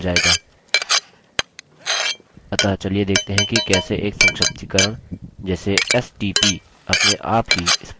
अतः चलिए देखते हैं कि कैसे एक संक्षिप्तीकरण जैसे stp अपने आप ही spoken tutorial project में बदलता है